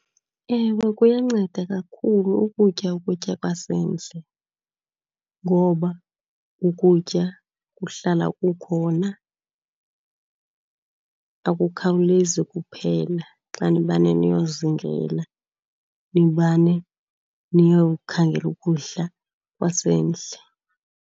Ewe, kuyanceda kakhulu ukutya ukutya kwasendle. Ngoba ukutya kuhlala kukhona, akukhawulezi ukuphela xa nimane niyozingela, nimane niyokhangela ukudla kwasendle.